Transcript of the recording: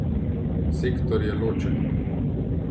Sektor je ločen.